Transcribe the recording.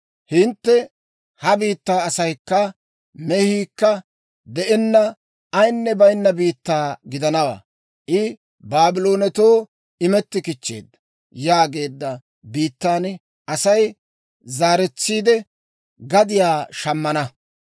Hintte, ‹Ha biittay asaykka mehiikka de'enna, ayinne baynna biittaa gidanawaa; I Baabloonetoo imetti kichcheedda› yaageedda biittan Asay zaaretsiide, gadiyaa shammana.